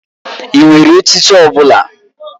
Ị nwere echichi ọ bụla?